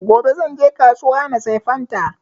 Gobe zan je kasuwa na saya fanta